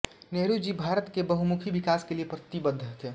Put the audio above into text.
नेहरू जी भारत के बहुमुखी विकास के लिए प्रतिबद्ध थे